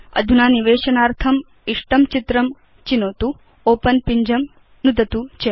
अधुना निवेशनार्थम् इष्टं चित्रं चिनोतु ओपेन पिञ्जं नुदतु च